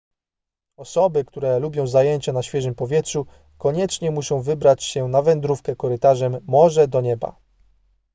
osoby które lubią zajęcia na świeżym powietrzu koniecznie muszą wybrać się na wędrówkę korytarzem morze do nieba